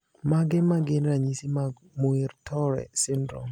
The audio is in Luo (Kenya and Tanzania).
Mage magin ranyisi mag Muir Torre syndrome?